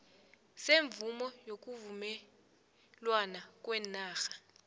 semvumo yokuvumelwana kweenarha